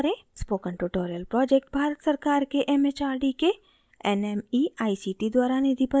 spoken tutorial project Bharat सरकार के mhrd के nmeict द्वारा निधिबद्ध है